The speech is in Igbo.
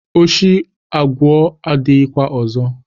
Oshi aguo adighi kwa ozo.